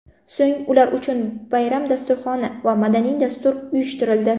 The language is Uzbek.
So‘ng ular uchun bayram dasturxoni va madaniy dastur uyushtirildi.